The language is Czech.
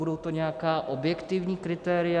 Budou to nějaká objektivní kritéria?